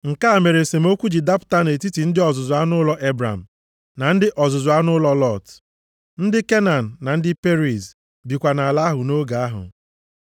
Nke a mere esemokwu ji dapụta nʼetiti ndị ọzụzụ anụ ụlọ Ebram na ndị ọzụzụ anụ ụlọ Lọt. Ndị Kenan na ndị Periz bikwa nʼala ahụ nʼoge ahụ.